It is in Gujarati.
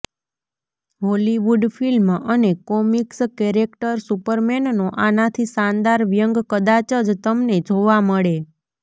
હોલીવુડ ફિલ્મ અને કોમિક્સ કેરેક્ટર સુપરમેનનો આનાથી શાનદાર વ્યંગ કદાચ જ તમને જોવા મળે